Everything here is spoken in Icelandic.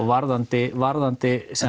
varðandi varðandi